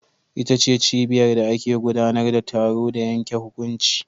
Ita ce cibiyar da ake gudanar da taro da yanke hukunci.